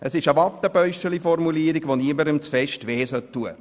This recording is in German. Es ist eine «Wattebäuschchen»-Formulierung, die niemanden zu sehr schmerzen sollte.